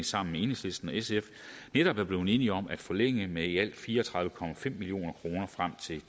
sammen med enhedslisten og sf netop er blevet enige om at forlænge med i alt fire og tredive million kroner frem til